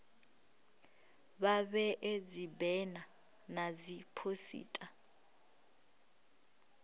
vha vhee dzibena na dziphosita